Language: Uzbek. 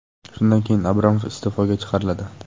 Shundan keyin Abramov iste’foga chiqariladi.